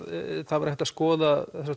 það væri hægt að skoða